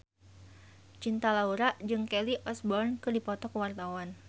Cinta Laura jeung Kelly Osbourne keur dipoto ku wartawan